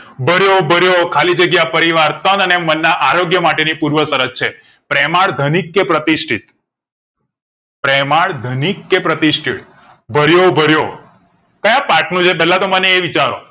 ભર્યો ભર્યો ખાલી જગ્યા પરિવાર તન અને મન ના આરોગ્ય માટે ની પુર્વ શરત છે પ્રેમાળ ધનિક કે પ્રતિષ્ટિતિથિ પ્રેમાળ ધનિક કે પ્રતિષ્ટિતિથિ ભર્યો ભર્યો ક્યાં પાથ નું છે પેલા તો મને એ વિચારો